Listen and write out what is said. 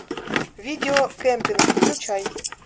видео кемпинг включай